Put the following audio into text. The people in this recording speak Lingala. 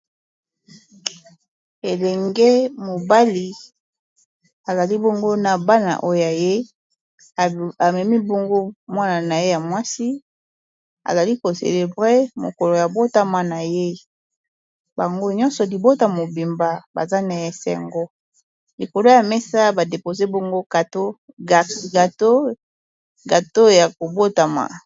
Elenge mobali azali bongo na bana oyo ye amemi bongo mwana na ye ya mwasi azali kocelebre mokolo ya botama na ye bango nyonso libota mobimba baza na esengo likolo ya mesa badepoze bango gato ya kobotama.